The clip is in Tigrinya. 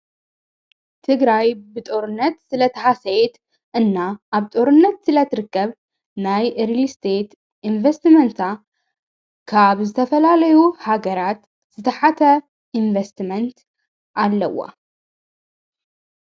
ትግራይ ብጦርነት ስለ ተሓሰየት እና ኣብ ጦርነት ስለ ትርከብ ናይ ኤርልሊ ስተየት ኢንቪስቲመንታ ካብ ዝተፈላለዩ ሃገራት ዝተሓተ ኢንቪስቲመንት ኣለዋ።